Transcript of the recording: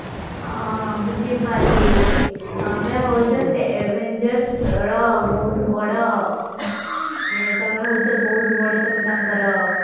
ହଁ ବୁଝି ପାରିଲି ତମେ ହଉଛ ସେ avengers ର ବହୁତ ବଡ ମାନେ ତମେ ହଉଛ ମାନେ ତମେ ତାଙ୍କର